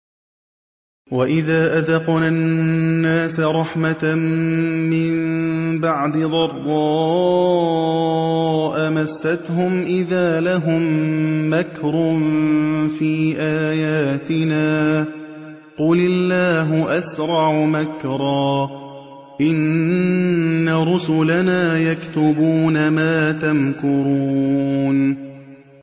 وَإِذَا أَذَقْنَا النَّاسَ رَحْمَةً مِّن بَعْدِ ضَرَّاءَ مَسَّتْهُمْ إِذَا لَهُم مَّكْرٌ فِي آيَاتِنَا ۚ قُلِ اللَّهُ أَسْرَعُ مَكْرًا ۚ إِنَّ رُسُلَنَا يَكْتُبُونَ مَا تَمْكُرُونَ